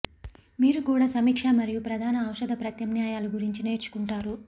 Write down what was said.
మీరు కూడా సమీక్ష మరియు ప్రధాన ఔషధ ప్రత్యామ్నాయాలు గురించి నేర్చుకుంటారు